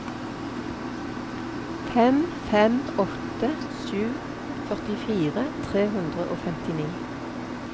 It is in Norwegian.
fem fem åtte sju førtifire tre hundre og femtini